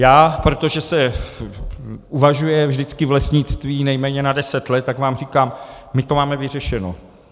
Já, protože se uvažuje vždycky v lesnictví nejméně na deset let, tak vám říkám, my to máme vyřešeno.